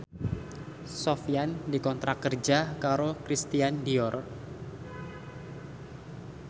Sofyan dikontrak kerja karo Christian Dior